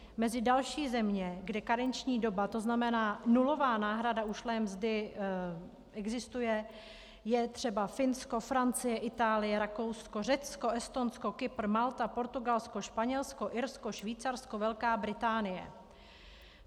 Mezi další země, kde karenční doba, to znamená nulová náhrada ušlé mzdy, existuje, je třeba Finsko, Francie, Itálie, Rakousko, Řecko, Estonsko, Kypr, Malta, Portugalsko, Španělsko, Irsko, Švýcarsko, Velká Británie.